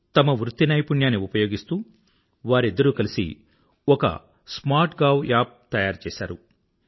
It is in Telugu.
తమ ప్రొఫెషనల్ నైపుణ్యాన్ని ఉపయోగిస్తూ వారిద్దరూ కలిసి ఒక స్మార్ట్ గావ్ యాప్ తయారు చేసారు